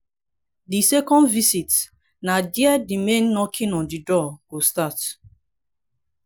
di second visit na dia di main knocking on di door go start